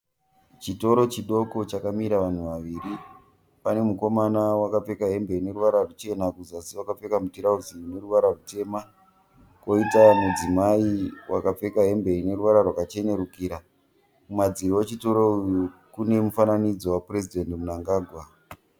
Chitoro chidoko chakamira vanhu vaviri, pane mukomana wakapfeka hembe ine ruvara ruchena kuzasi wakapfeka mutirauzi une ruwara rutema. Koita mudzimai wakapfeka hembe ine ruwara rwakachenurukira. Kumadziro echitoro kune mufananidzo wa Purezidhendi Munangagwa.